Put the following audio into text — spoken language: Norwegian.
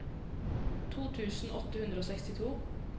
to tusen åtte hundre og sekstito